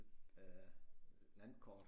Øh landkort